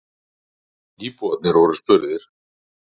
Íbúarnir voru spurðir.